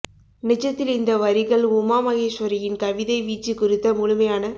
நிஜத்தில் இந்த வரிகள் உமா மகேஸ்வரியின் கவிதை வீச்சுக் குறித்த முழுமையான